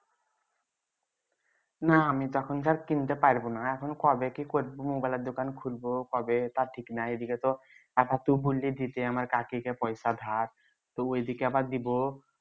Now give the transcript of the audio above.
না আমি তো এখন আর কিনতে পারবোনা এখন কবে কি করবো mobile দোকান খুলবো কবে তা ঠিক নাই এইদিগে তো তো বুললি দিতে আমার কাকীকে পয়সা ধার তবু এইদিগে আবার দিবো